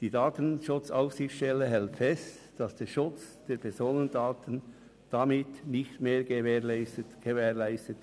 Die DSA hält fest, dass der Schutz der Personendaten damit nicht mehr gewährleistet ist.